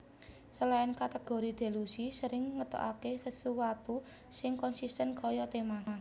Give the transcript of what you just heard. Selain kategori Delusi sering ngetokake sesuatu sing konsisten kaya tema